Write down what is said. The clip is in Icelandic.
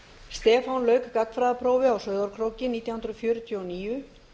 stefán lauk gagnfræðaprófi á sauðárkróki nítján hundruð fjörutíu og níu